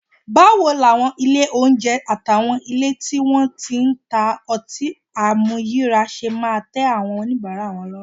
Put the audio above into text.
Báwo làwọn ilé oúnjẹ àtàwọn ilé tí wọ́n ti ń ta ọtí àmuyíràá ṣe máa tẹ́ àwọn oníbàárà lọ́rùn?